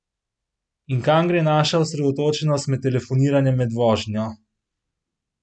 In kam gre naša osredotočenost med telefoniranjem med vožnjo?